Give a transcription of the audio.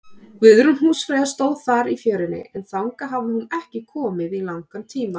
Guðrún húsfreyja stóð þar í fjörunni, en þangað hafði hún ekki komið í langan tíma.